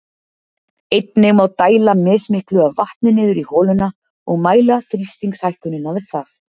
Einnig má dæla mismiklu af vatni niður í holuna og mæla þrýstingshækkunina við það.